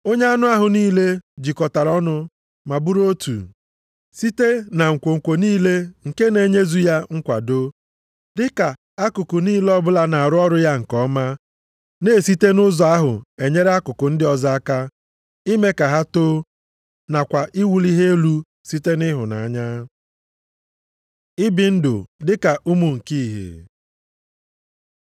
Onye anụ ahụ niile, jikọtara ọnụ ma bụrụ otu, site na nkwonkwo niile nke na-enyezu ya nkwado, dịka akụkụ niile ọbụla na-arụ ọrụ ya nke ọma, na-esite nʼụzọ ahụ enyere akụkụ ndị ọzọ aka, ime ka ha too, nakwa iwuli ha elu site nʼịhụnanya. Ibi ndụ dị ka ụmụ nke ihe